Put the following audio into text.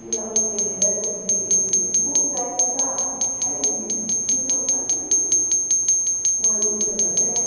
E lá os Tremembé conseguiram, inclusive, conversar reunidos, que não faziam isso, com a luta da terra.